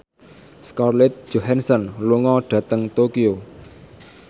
Scarlett Johansson lunga dhateng Tokyo